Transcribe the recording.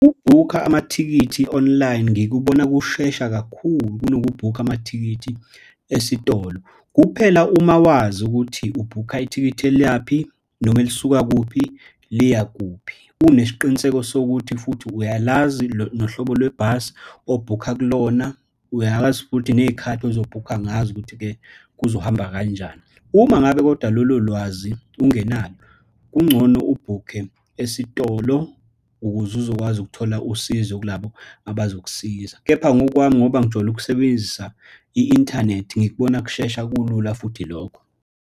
Ukubhukha amathikithi online, ngikubona kushesha kakhulu kunokubhukha amathikithi esitolo. Kuphela uma wazi ukuthi ubhukha ithikithi elayaphi, noma elisuka kuphi, liya kuphi. Unesiqiniseko sokuthi futhi uyalazi nohlobo lwebhasi obhukha kulona, uyazi futhi neyikhathi uzobhukha ngazo ukuthi-ke kuzohamba kanjani. Uma ngabe kodwa lolo lwazi ungenalo, kungcono ubhukhe esitolo ukuze uzokwazi ukuthola usizo kulabo abazokusiza. Kepha ngokwami ngoba ngijwayele ukusebenzisa i-inthanethi ngikubona kushesha, kulula futhi lokho.